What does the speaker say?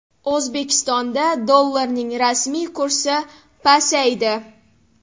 O‘zbekistonda dollarning rasmiy kursi pasaydi.